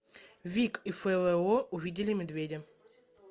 вик и фло увидели медведя